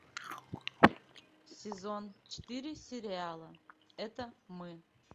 сезон четыре сериала это мы